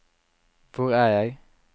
hvor er jeg